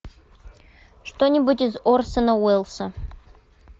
что нибудь из орсона уэллса